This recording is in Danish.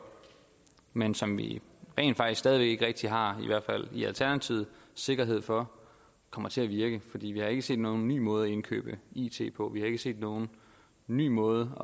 men som vi rent faktisk stadig væk ikke rigtig har i hvert fald i alternativet sikkerhed for kommer til at virke fordi vi har ikke set nogen ny måde at indkøbe it på vi har ikke set nogen ny måde